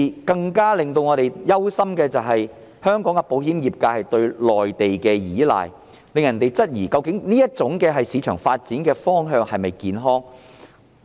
更令我們憂心的，是香港的保險業界過度倚賴內地，令人質疑究竟這種市場發展方向是否健康。